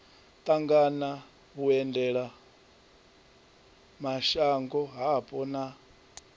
ṱangana na vhuendelamashango hapo na